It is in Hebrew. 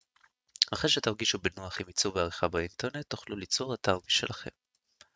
אחרי שתרגישו בנוח עם עיצוב ועריכה באינטרנט תוכלו ליצור אתר משלכם